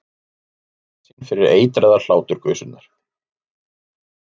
Skammaðist sín fyrir eitraðar hláturgusurnar.